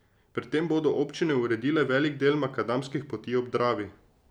Pri tem bodo občine uredile velik del makadamskih poti ob Dravi.